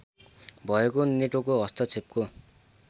भएको नेटोको हस्तक्षेपको